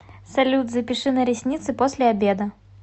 салют запиши на ресницы после обеда